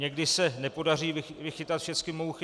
Někdy se nepodaří vychytat všechny mouchy.